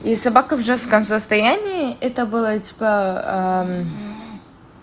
и собака в жёстком состоянии это было типа